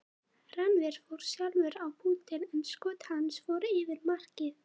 Rannver fór sjálfur á punktinn en skot hans fór yfir markið.